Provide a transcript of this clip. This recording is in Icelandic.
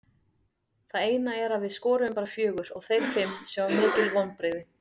Það eina er að við skoruðum bara fjögur og þeir fimm sem var mikil vonbrigði.